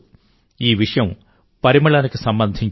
ఈ విషయం పరిమళానికి సంబంధించింది